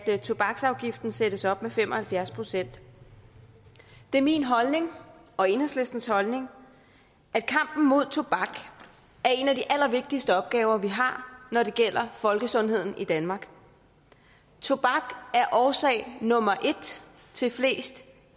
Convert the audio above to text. tobaksafgiften sættes op med fem og halvfjerds procent det er min holdning og enhedslistens holdning at kampen mod tobak er en af de allervigtigste opgaver vi har når det gælder folkesundheden i danmark tobak er årsag nummer et til flest